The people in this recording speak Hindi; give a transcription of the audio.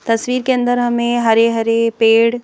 तस्वीर के अंदर हमें हरे-हरे पेड़--